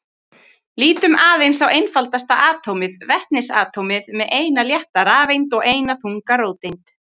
Lítum aðeins á einfaldasta atómið, vetnisatómið með eina létta rafeind og eina þunga róteind.